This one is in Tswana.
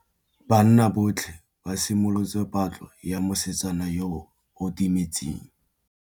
Banna botlhê ba simolotse patlô ya mosetsana yo o timetseng.